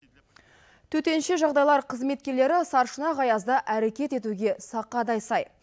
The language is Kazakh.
төтенше жағдайлар қызметкерлері сарышұнақ аязда әрекет етуге сақадай сай